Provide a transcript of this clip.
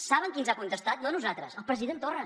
saben qui ens ha contestat no nosaltres el president torra